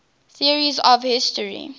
theories of history